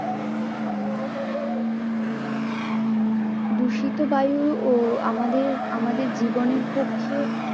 দূষিত বায়ু ও আমাদের, আমাদের জীবনের পক্ষে